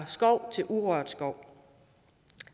skov til urørt skov